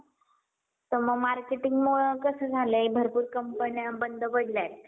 तर मग marketing मुळं कसं झालंय भरपूर कंपन्या बंद पडल्यात